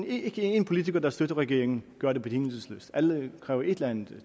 ikke én politiker der støtter regeringen gør det betingelsesløst alle kræver et eller andet